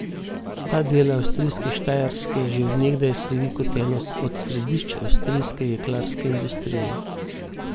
Ta del avstrijske Štajerske že od nekdaj slovi kot eno od središč avstrijske jeklarske industrije.